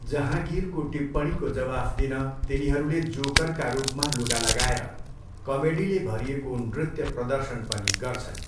जहाँगीरको टिप्पणीको जवाफ दिन तिनीहरूले जोकरका रूपमा लुगा लगाएर कमेडीले भरिएको नृत्य प्रदर्शन पनि गर्छन्।